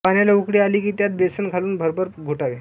पाण्याला उकळी आली कि त्यात बेसन घालून भरभर घोटावे